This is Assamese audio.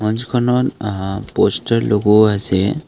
খনত আ পষ্টাৰ লগোৱা আছে।